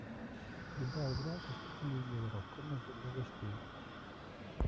прибавь громкость у телевизора в комнате для гостей